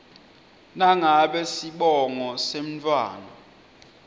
nangabe sibongo semntfwana